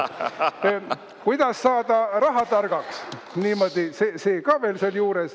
"Kuidas saada rahatargaks?", see ka veel siin juures.